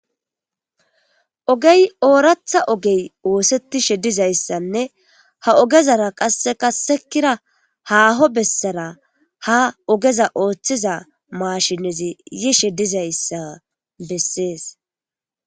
Oogey ooraththa oogey ooththetishe dizayssanne ha oogezara qasekka haaho bessara haa oogeza ooththiza maashinezii yiishshe dizayssa besses